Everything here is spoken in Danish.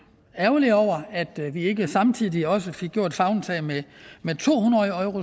ærgerlige over at vi ikke samtidig også fik taget favntag med to hundrede